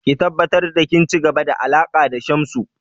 Ki tabbatar da kin ci gaba da alaƙa da Shamsu!